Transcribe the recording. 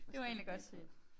Hvad står der bagpå?